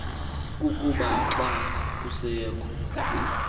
kukuba xa kusekho